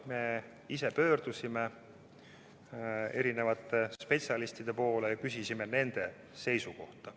Me ise pöördusime erinevate spetsialistide poole ja küsisime nende seisukohta.